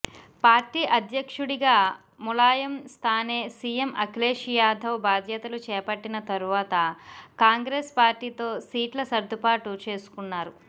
party అధ్యక్షుడిగా ములాయం స్థానే CM Akhilesh Yadav బాధ్యతలు చేపట్టిన తర్వాత కాంగ్రెస్ పార్టీతో సీట్ల సర్దుబాటు చేసుకున్నారు